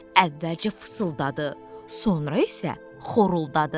Əvvəlcə fısıldadı, sonra isə xoruldadı.